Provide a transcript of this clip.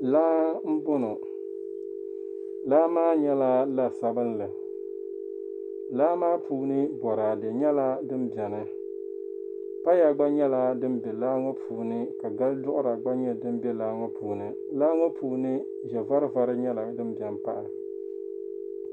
Laa m-bɔŋɔ. Laa maa nyɛla la' sabilinli. Laa maa puuni bɔraade nyɛla din beni. Paya gba nyɛla din be laa ŋɔ puuni ka gal' duɣira gba nyɛ din be laa ŋɔ puuni. Laa ŋɔ puuni ʒɛ' varivari nyɛla din beni m-pahi.